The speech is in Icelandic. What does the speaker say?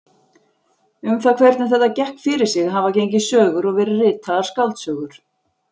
Um það hvernig þetta gekk fyrir sig hafa gengið sögur og verið ritaðar skáldsögur.